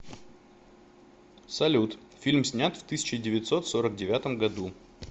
салют фильм снят в тысяча девятьсот сорок девятом году